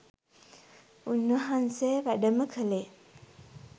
උන් වහන්සේ වැඩම කලේ